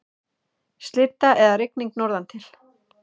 Slydda eða rigning norðantil